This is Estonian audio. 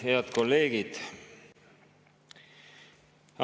Head kolleegid!